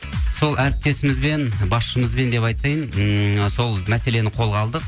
сол әріптесімізбен басышымызбен деп айтайын ммм сол мәселені қолға алдық